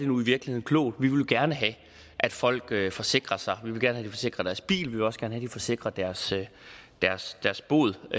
nu virkelig er klog vi vil jo gerne have at folk forsikrer sig vi vil gerne have at de forsikrer deres bil vi vil også gerne have at de forsikrer deres deres båd